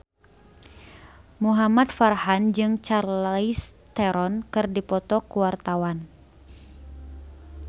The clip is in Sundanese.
Muhamad Farhan jeung Charlize Theron keur dipoto ku wartawan